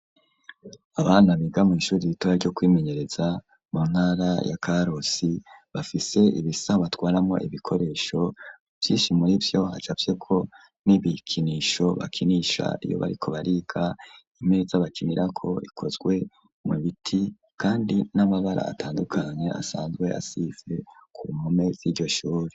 Abana biga mw'ishuri ritoya ryo kwimenyereza mu ntara ya Karusi, bafise ibisaho batwaramo ibikoresho. Vyinshi muri vyo hacafyeko n'ibikinisho bakinisha iyo bariko bariga. Imeza bakinirako ikozwe mu biti, kandi n'amabara atandukanye asanzwe asize ku mpome z'iryo shuri.